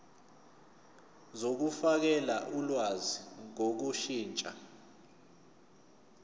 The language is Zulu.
zokufakela ulwazi ngokushintsha